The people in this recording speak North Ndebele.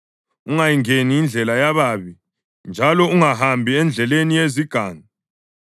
Ungayingeni indlela yababi njalo ungahambi endleleni yezigangi.